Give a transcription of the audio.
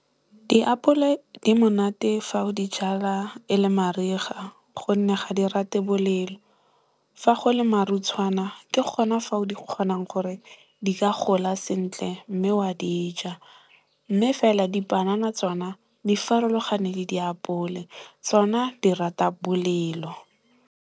Diapole di monate fa o di jala e le mariga gonne ga di rate bolelo. Fa go le marutshwana ke gona fao di kgonang gore di ka gola sentle mme wa di ja. Mme fela dipanana tsona, di farologane le diapole. Tsona di rata bolelo.